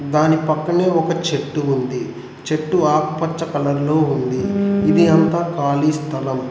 దాని పక్కనే ఒక చెట్టు ఉంది చెట్టు ఆకుపచ్చ కలర్ లో ఉంది ఇది అంత ఖాళీ స్థలం.